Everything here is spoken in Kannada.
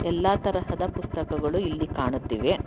ಎಲ್ಲಾ ತರಹದ ಪುಸ್ತಕಗಳು ಇಲ್ಲಿ ಕಾಣುತ್ತಿವೆ.